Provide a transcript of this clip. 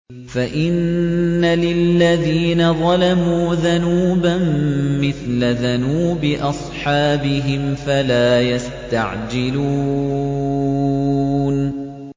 فَإِنَّ لِلَّذِينَ ظَلَمُوا ذَنُوبًا مِّثْلَ ذَنُوبِ أَصْحَابِهِمْ فَلَا يَسْتَعْجِلُونِ